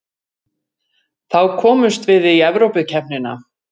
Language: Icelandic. Þá komumst við í Evrópukeppnina